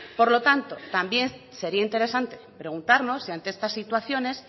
por lo tanto también sería interesante preguntarnos si ante estas situaciones